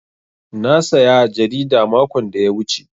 Na saya jarida makon da ya wuce.